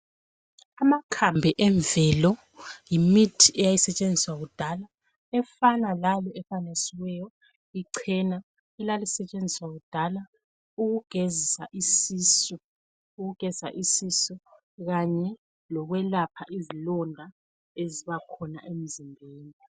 Amakhambi emvelo yimiti eyasisetshenziswa kudala efana lale efanekisiweyo ichena elalisetshenziswa kudala ukugezisa isisu kanye lokwelapha izilonda ezibakhona emzimbeni.